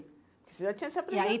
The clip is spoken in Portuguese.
Você já tinha se apresen e aí.